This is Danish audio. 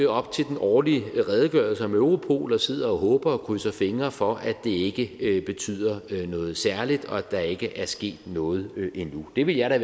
op til den årlige redegørelse om europol og sidder og håber på og krydser fingre for at det ikke betyder noget særligt og at der ikke er sket noget endnu det ville jeg da